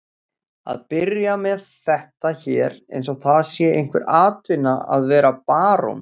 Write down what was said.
Að byrja með þetta hér eins og það sé einhver atvinna að vera barón?